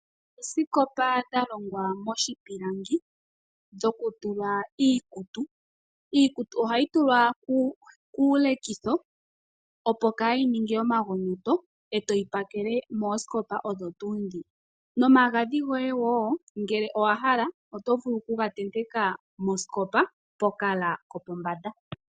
Oosikopa dha longwa moshipilangi, dhoku tula iikutu. Iikutu ohayi tulwa kuulekitho, opo kaa yi ninge omagonyoto e to yi pakele moosikopa odho tuu ndhi, nomagadhi goye wo ngele owa hala oto vulu oku ga tenteka mosikopa, pokala kopombanda.